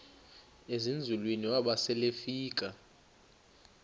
ezinzulwini waba selefika